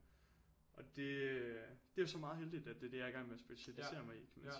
Og det øh det er jo så meget heldigt at det jeg er i gang med at specialisere mig i kan man sige